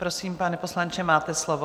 Prosím, pane poslanče, máte slovo.